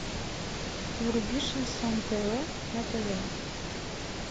вруби шансон тв на тв